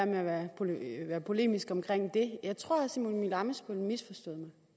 med at være polemisk omkring det jeg tror at herre simon emil ammitzbøll misforstod mig